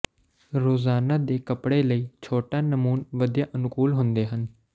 ਰੋਜ਼ਾਨਾ ਦੇ ਕੱਪੜੇ ਲਈ ਛੋਟਾ ਨਮੂਨ ਵਧੀਆ ਅਨੁਕੂਲ ਹੁੰਦੇ ਹਨ